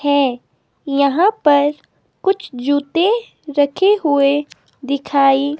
है यहां पर कुछ जूते रखे हुए दिखाई--